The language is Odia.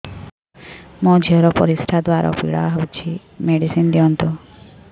ମୋ ଝିଅ ର ପରିସ୍ରା ଦ୍ଵାର ପୀଡା ହଉଚି ମେଡିସିନ ଦିଅନ୍ତୁ